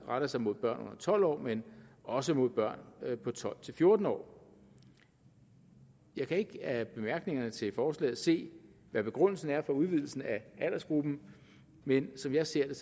retter sig mod børn under tolv år men også mod børn på tolv til fjorten år jeg kan ikke af bemærkningerne til forslaget se hvad begrundelsen er for udvidelsen af aldersgruppen men som jeg ser